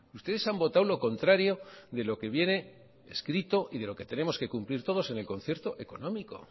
ustedes han votado lo contrario de lo que viene escrito y de lo que tenemos que cumplir todos en el concierto económico